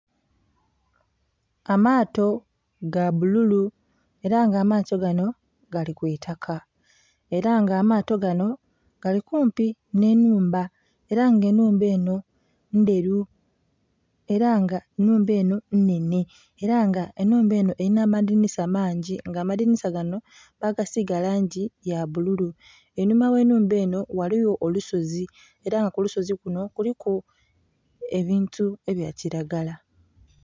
Amaato gabbululu era nga amaato gano gali kwitaka era nga amaato gano gali kumpi n'enhumba era nga enhumba eno ndheru era nga enhumba eno nnhenhe, era nga enhumba eno erinha amadhinhisa mangi nga amadhinhisa gano bagasiga langi yabbululu. Einhuma gh'enhumba eno ghaligho olusozi era nga kulusozi kuno kuliku ebintu ebyakiragala.